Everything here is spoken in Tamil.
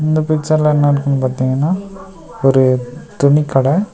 இந்த பிச்சர்ல என்ன இருக்குன்னு பாத்தீங்கனா ஒரு துணி கட.